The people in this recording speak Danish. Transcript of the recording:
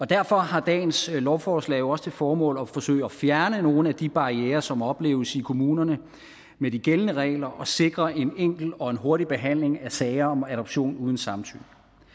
derfor har dagens lovforslag jo også til formål at forsøge at fjerne nogle af de barrierer som opleves i kommunerne med de gældende regler og sikre en enkel og hurtig behandling af sager om adoption uden samtykke